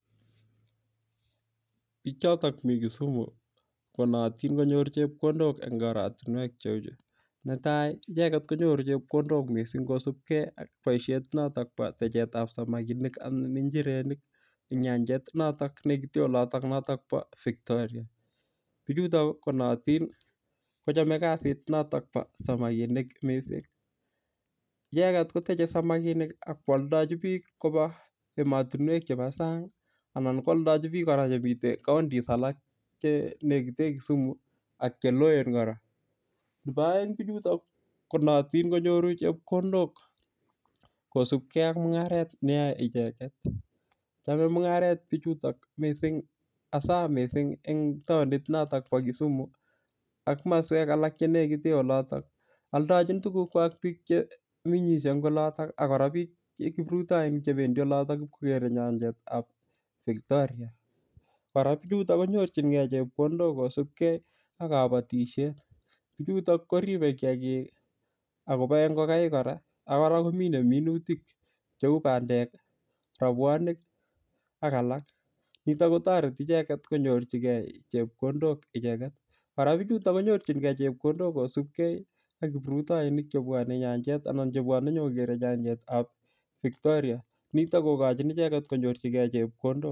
Bichotok mi kisumu konootin konyor chepkondok eng' oratinwek cheu chu netai icheget konyoru chepkondok mising' kosubkei ak boishet notok bo tachetab samakinik anan njirenik ing' nyannjet nechute olotok notok bo Victoria bichutok konootin kochomei kasit notok bo samakinik mising' icheget kotochei samakinik ak kwoldojin biik koba emotinwek chebo sang' anan kwoldojin biik kora chemitei counties alak chenekite Kisumu ak cheloen kora nebo oeng' bichutok konootin konyoru chepkondok kosubkei ak mung'aret neyoei icheget chamei mung'aret bichutok mising' hasa mising' eng' taonit notok bo Kisumu ak maswek alak chenekite olotok oldojin tukukwach biik chemeng'ishei eng' olotok akora biik kiprutoinik chebendi olotok bikokerei nyanjet ab Victoria kora bichutok konyorchingei chepkondok kosubkei ak kabatishet bichutok koribei kiyakik akoboei ngokaik kora ak kora kominei minutik cheu bandek robwonik ak alak nito kotoreti icheget konyorchigei chepkondok icheget kora bichutok konyorchingei chepkondok kosubkei ak kiprutoinik chebwonei nyanjet anan chebwonei nyikokerei nyanjetab Victoria nito kokojin icheget konyorchigei chepkondok